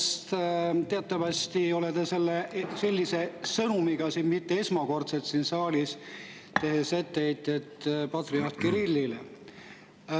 Sest teatavasti ei ole te sellise sõnumiga mitte esmakordselt siin saalis, tehes etteheiteid patriarh Kirillile.